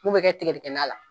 F'u bi kɛ tigɛdɛgɛ na la.